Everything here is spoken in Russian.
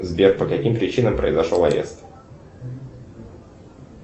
сбер по каким причинам произошел арест